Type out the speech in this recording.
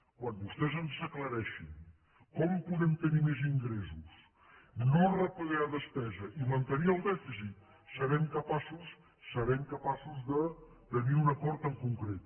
quan vostès ens aclareixin com podem tenir més ingressos no retallar despesa i mantenir el dèficit serem capaços serem capaços de tenir un acord en concret